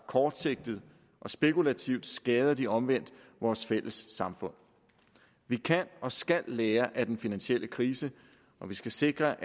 kortsigtet og spekulativt skader den omvendt vores fælles samfund vi kan og skal lære af den finansielle krise og vi skal sikre